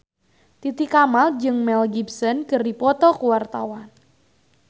Titi Kamal jeung Mel Gibson keur dipoto ku wartawan